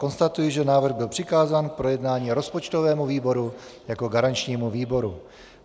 Konstatuji, že návrh byl přikázán k projednání rozpočtovému výboru jako garančnímu výboru.